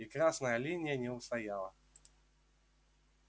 и красная линия не устояла